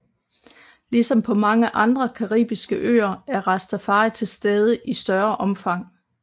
Ligesom på mange andre caribiske øer er rastafari til stede i større omfang